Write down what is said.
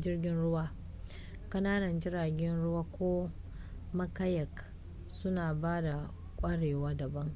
jirgin ruwa ƙananan jiragen ruwa ko ma kayak suna ba da kwarewa daban